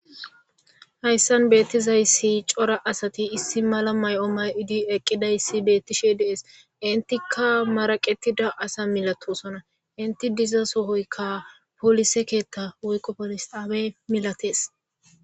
Hayssan beettizayssi cora asati issi mala may'o may'odi eqqidayssi beettishe dees intikka maraqetida asa milatosona inti diza sohoykka poolise keetta woyqo polisawe milates.